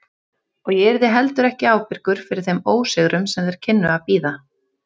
Og ég yrði heldur ekki ábyrgur fyrir þeim ósigrum sem þeir kynnu að bíða.